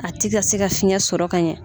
A ti ka se ka fiɲɛ sɔrɔ ka ɲɛ.